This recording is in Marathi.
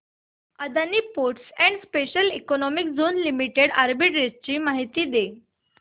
Adani ports and special economic zone limited arbitrage माहिती दे